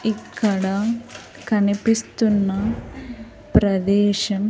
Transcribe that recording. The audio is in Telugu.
ఇక్కడ కనిపిస్తున్న ప్రదేశం.